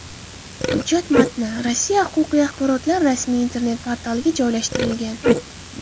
Hujjat matni Rossiya huquqiy axborotlar rasmiy internet-portaliga joylashtirilgan .